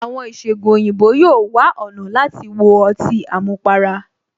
Àwọn ìṣẹgun òyìnbó yóò wá ọ̀nà láti wo ọtí àmupara